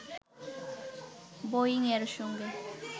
বোয়িং-এর সঙ্গে